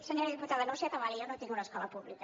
senyora diputada no s’atabali jo no tinc una escola pública